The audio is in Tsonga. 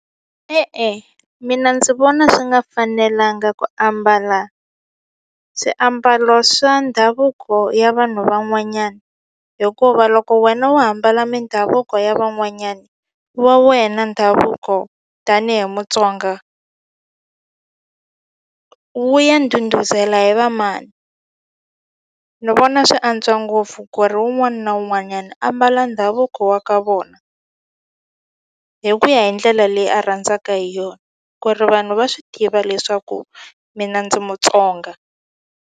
E-e, mina ndzi vona swi nga fanelanga ku ambala swiambalo swa ndhavuko ya vanhu van'wanyana hikuva loko wena wo hambana mindhavuko ya van'wanyani wa wena ndhavuko tanihi Mutsonga wu ya ndhundhuzela hi va mani ni vona swi antswa ngopfu ku ri wun'wani na wun'wanyani ambala ndhavuko wa ka vona hi ku ya hi ndlela leyi a rhandzaka hi yona ku ri vanhu va swi tiva leswaku mina ndzi Mutsonga.